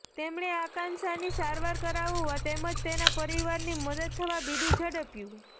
તેમણે આંકાક્ષાની સારવાર કરાવવા તેમજ તેના પરીવારની મદદ થવા બીડું ઝડપ્યું